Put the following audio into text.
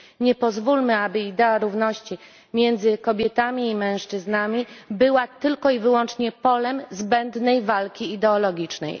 Nie pozwólmy, aby idea równości między kobietami i mężczyznami była tylko i wyłącznie polem zbędnej walki ideologicznej.